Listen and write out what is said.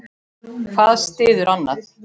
Hvað styður annað.